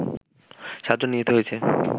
৭ জন নিহত হয়েছে